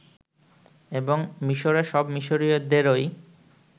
এবং মিশরে সব মিশরীয়দেরই